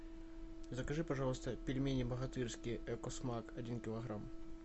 закажи пожалуйста пельмени богатырские эко смак один килограмм